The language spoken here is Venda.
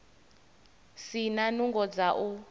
si na nungo dza u